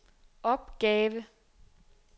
opgave